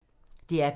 DR P2